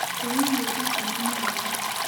Kũrĩa irio ndũkanũ nĩwega